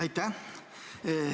Aitäh!